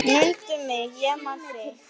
Mundu mig, ég man þig.